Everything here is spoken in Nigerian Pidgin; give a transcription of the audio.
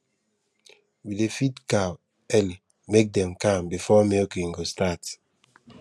we dey feed cow early make dem calm before milking go start